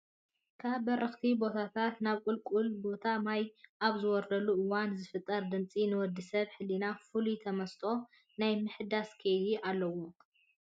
ካብ በራኽቲ ቦታታት ናብ ቁልቁለታማ ቦታ ማይ ኣብ ዝወርደሉ እዋን ዝፍጠር ድምፂ ንወዲሰብ ህሊና ፍሉይ ተመስጥኦ ናይ ምህዳስ ከይዲ ኣለዎ።